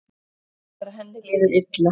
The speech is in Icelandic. Gerðar þegar henni líður illa.